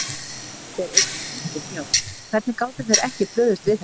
Þeir eyddi fúlgum fjár, hvernig gátu þeir ekki brugðist við þessu?